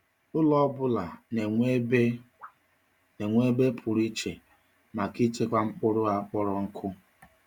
Ụlọ ọ bụla na-enwe ebe na-enwe ebe pụrụ iche maka ịchekwa mkpụrụ a kpọrọ nkụ.